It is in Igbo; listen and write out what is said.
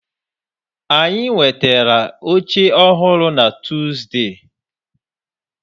Anyị nwetara oche ọhụrụ na Tuuzde.